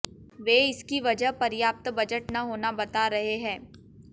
वे इसकी वजह पर्याप्त बजट न होना बता रहे हैं